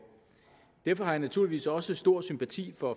derfor har jeg naturligvis også stor sympati for